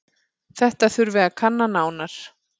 Þetta þurfi að kanna nánar.